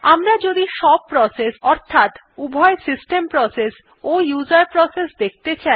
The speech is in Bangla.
আমরা যদি সব প্রসেস অর্থাৎ উভয় সিস্টেম প্রসেস ও উসের প্রসেস দেখতে চাই